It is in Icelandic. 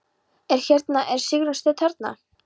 Er hérna. er Sigrún stödd þarna?